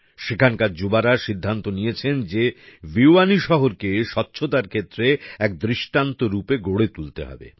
সেখানকার যুবারা সিদ্ধান্ত নিয়েছেন যে ভিওয়ানী শহরকে স্বচ্ছতার ক্ষেত্রে এক দৃষ্টান্ত রূপে গড়ে তুলতে হবে